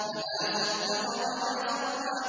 فَلَا صَدَّقَ وَلَا صَلَّىٰ